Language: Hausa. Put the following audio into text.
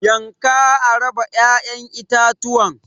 yanka a raba ya'yan itatuwan.